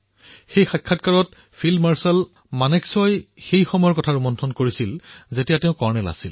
সেই সাক্ষাৎকাৰটোত field marshal মানেকশ্বই সেই সময়ৰ স্মৃতি সোঁৱৰণ কৰিছিল যেতিয়া তেওঁ এজন কৰ্ণেল আছিল